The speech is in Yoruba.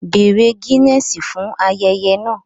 Bèèrè Guinness fún ayẹyẹ náà